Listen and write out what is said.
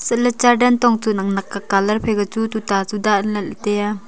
chatley char dantong chu nak nak ka phaika chu tuta chu danley tai aa.